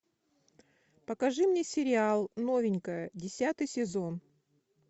покажи мне сериал новенькая десятый сезон